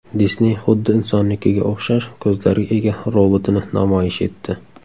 Disney xuddi insonnikiga o‘xshash ko‘zlarga ega robotini namoyish etdi .